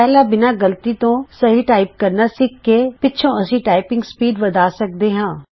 ਪਹਿਲਾਂ ਬਿਨਾਂ ਗਲਤੀ ਤੋਂ ਸਹੀ ਟਾਈਪ ਕਰਨਾ ਸਿੱਖ ਕੇ ਪਿੱਛੋਂ ਅਸੀਂ ਟਾਈਪਿੰਗ ਸਪੀਡ ਵੱਧਾ ਸਕਦੇ ਹਾਂ